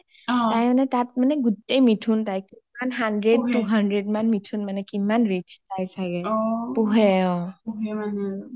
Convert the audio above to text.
অ তাই মানে তাত গোটেই মিথুন তাইৰ ,hundred, two hundred মিথুন কিমান rich তাই চাগে পোহে. পোহে নেকি? পোহে অ